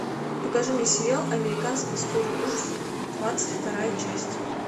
покажи мне сериал американская история ужасов двадцать вторая часть